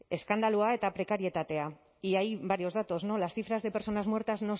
eskandalua eta prekarietatea y hay varios datos no las cifras de personas muertas